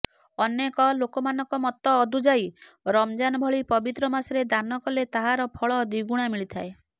ଅନେକ ଲୋକମାନଙ୍କ ମତ ଅଦୁଯାୟୀ ରମଜାନ ଭଳି ପବିତ୍ର ମାସରେ ଦାନ କଲେ ତାହାର ଫଳ ଦ୍ବିଗୁଣା ମିଳିଥାଏ